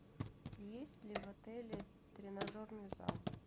есть ли в отеле тренажерный зал